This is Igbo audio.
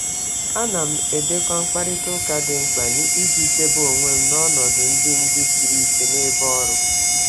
Ana m edekọ mkparịta ụka mkparịta ụka dị mkpa iji chedo onwe m n'ọnọdụ ebe ọrụ gbagwojuru anya.